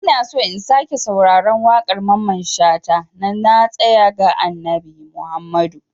Ina so in sake sauraron waƙar Mamman shata "Na tasaya ga Annabi Muhammadu".